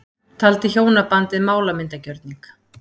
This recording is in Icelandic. Taldi hjónabandið málamyndagjörning